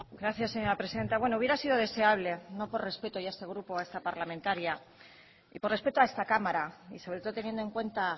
gracias señora presidenta bueno hubiera sido deseable no por respeto ya a este grupo o a esta parlamentaria y por respeto a esta cámara y sobre todo teniendo en cuenta